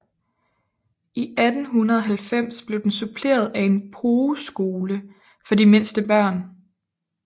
I 1890 blev den suppleret af en pogeskole for de mindste børn